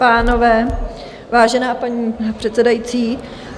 ... pánové, vážená paní předsedající.